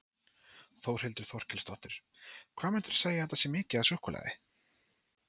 Þórhildur Þorkelsdóttir: Hvað myndir þú segja að þetta sé mikið af súkkulaði?